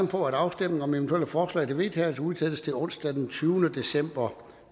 på at afstemningen om eventuelle forslag til vedtagelse udsættes til onsdag den tyvende december